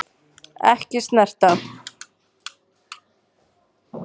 Ekki snert.